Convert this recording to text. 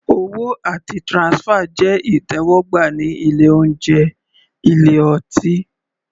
Owó àti transfer jẹ́ ìtẹ́wọ́gbà ní ilé oúnjẹ/ ilé ọtí.